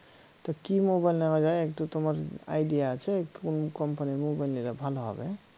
তা কি মোবাইল নেওয়া যায় একটু তোমার idea আছে কোন কোম্পানীর মোবাইল নিলে ভাল হবে?